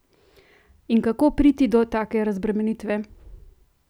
In kako priti do take razbremenitve?